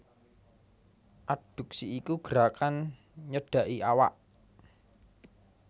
Adduksi iku gerakan nyedhaki awak